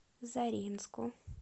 заринску